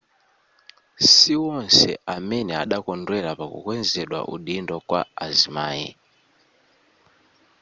siwonse amene adakondwera pakukwezedwa udindo kwa azimai